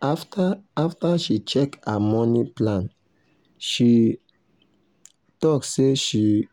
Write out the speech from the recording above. after after she check her money plan she um talk say make she